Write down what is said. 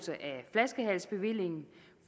flaskehalsbevillingen